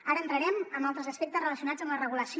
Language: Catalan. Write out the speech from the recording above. ara entrarem en altres aspectes relacionats amb la regulació